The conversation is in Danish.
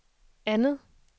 andet